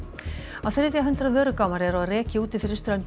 á þriðja hundrað eru á reki úti fyrir ströndum